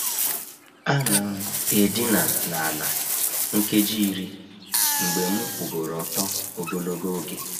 A na'm edina n’ala nkeji iri mgbe m kwugoro ọtọ ogologo oge.